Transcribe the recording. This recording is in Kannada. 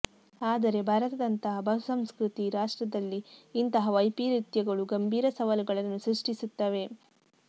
ಆದರೆ ಭಾರತದಂತಹ ಬಹುಸಂಸ್ಕೃತಿ ರಾಷ್ಟ್ರದಲ್ಲಿ ಇಂತಹ ವೈಪರೀತ್ಯಗಳು ಗಂಭೀರ ಸವಾಲುಗಳನ್ನು ಸೃಷ್ಟಿಸುತ್ತವೆ